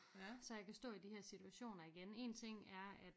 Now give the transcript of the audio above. Så jeg kan stå i de her situationer igen én ting er at